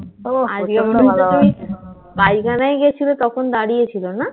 ও আজকে মনে হচ্ছে তুমি পায়খানায় গেছিলে তখন দাঁড়িয়েছিল না?